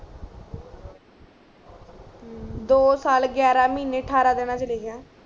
ਅਮ ਦੋ ਸਾਲ ਗਿਆਰਾਂ ਮਹਿਨੇ ਅਠਾਰਾਂ ਦਿਨਾਂ ਚ ਲਿਖਿਆ